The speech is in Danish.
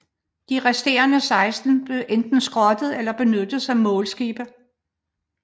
De resterende 16 skibe blev enten skrottet eller benyttet som målskibe